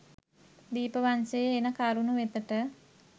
දීපවංශයේ එන කරුණු වෙතට